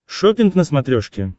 шоппинг на смотрешке